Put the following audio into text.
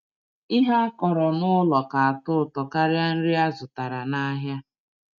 Ihe akọrọ nụlọ ka atọ ụtọ karịa nri azụtara nahịa.